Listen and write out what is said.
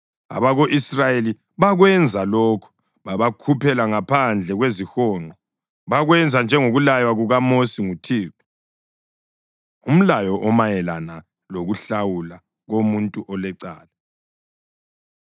Abako-Israyeli bakwenza lokho; babakhuphela ngaphandle kwezihonqo. Bakwenza njengokulaywa kukaMosi nguThixo. Umlayo Omayelana Lokuhlawula Komuntu Olecala